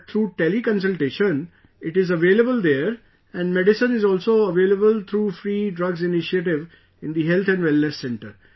But through Tele Consultation, it is available there and medicine is also available through Free Drugs initiative in the Health & Wellness Center